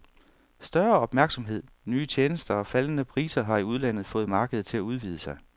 Større opmærksomhed, nye tjenester og faldende priser har i udlandet fået markedet til at udvide sig.